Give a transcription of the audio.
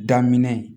Daminɛ